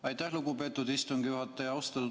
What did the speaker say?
Aitäh, lugupeetud istungi juhataja!